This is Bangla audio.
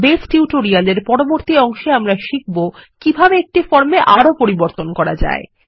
বেজ টিউটোরিয়ালের পরবর্তী অংশে আমরা শিখব কিভাবে একটি ফর্মে আরো পরিবর্তন করা যায়